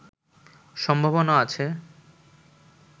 সম্ভাবনা আছে